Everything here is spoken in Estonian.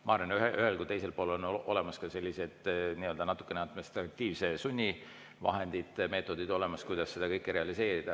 Ma arvan, et nii ühel kui ka teisel pool on olemas ka sellised administratiivse sunni vahendid ja meetodid, kuidas seda kõike realiseerida.